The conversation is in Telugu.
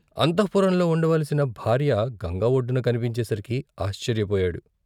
అంతఃపురంలో ఉండవలసిన భార్య గంగ ఒడ్డున కనిపించే సరికి ఆశ్చర్యపోయాడు.